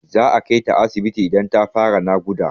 Za a kai ta asibiti idan ta fara naƙuda.